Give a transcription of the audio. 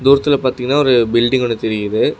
தூரத்துல பாத்தீங்கன்னா ஒரு பில்டிங் ஒன்னு தெரியுது.